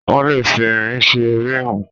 Wọ́n lè fi irin ṣe ríìmù.